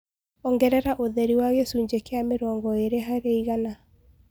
Ongereraũtherĩ wa gĩcũnjĩ kĩa mĩrongo ĩrĩ harĩ igana